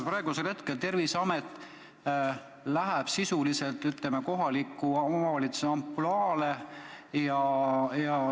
Ehk Terviseamet läheb sisuliselt kohaliku omavalitsuse ampluaale.